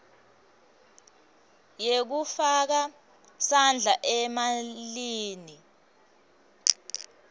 yekufaka sandla emalini